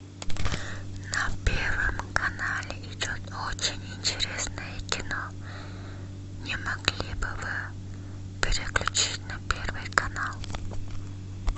на первом канале идет очень интересное кино не могли бы вы переключить на первый канал